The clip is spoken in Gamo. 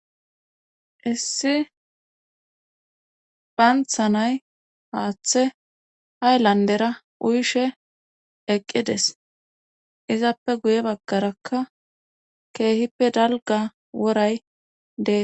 Issi paanthanay haaththe ayllandera uyshe eqqides izappe guye baggarakka keehippe dalga woray dee.